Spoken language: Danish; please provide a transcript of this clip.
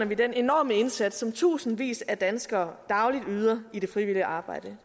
vi den enorme indsats som tusindvis af danskere dagligt yder i det frivillige arbejde